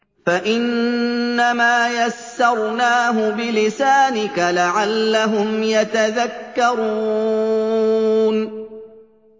فَإِنَّمَا يَسَّرْنَاهُ بِلِسَانِكَ لَعَلَّهُمْ يَتَذَكَّرُونَ